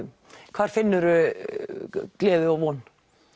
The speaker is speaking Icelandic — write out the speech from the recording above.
hvar finnur þú gleði og von